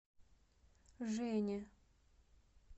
жене